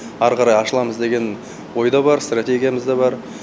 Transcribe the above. ары қарай ашыламыз деген ой да бар стратегиямыз да бар